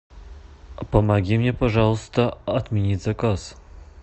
помоги мне пожалуйста отменить заказ